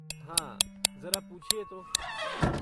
हाँ, जरा पूछिए तो!